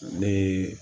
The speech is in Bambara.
Ne ye